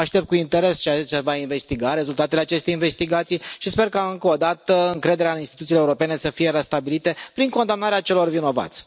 Aștept cu interes ceea ce se va investiga, rezultatele acestei investigații și sper ca, încă o dată, încrederea în instituțiile europene să fie restabilită prin condamnarea celor vinovați.